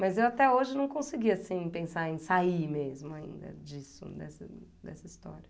Mas eu até hojeveu não consegui assim, pensar em sair mesmo ainda disso, dessa dessa história.